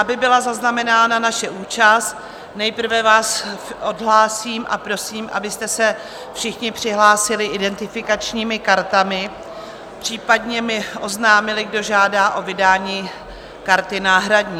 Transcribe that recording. Aby byla zaznamenána naše účast, nejprve vás odhlásím a prosím, abyste se všichni přihlásili identifikačními kartami, případně mi oznámili, kdo žádá o vydání karty náhradní.